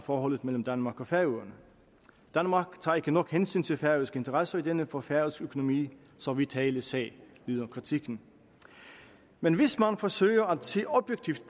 forholdet mellem danmark og færøerne danmark tager ikke nok hensyn til færøske interesser i denne for færøsk økonomi så vitale sag lyder kritikken men hvis man forsøger at se objektivt